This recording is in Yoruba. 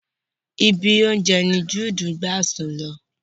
Ibi oúnjẹ ni juudu gbà sùn lọ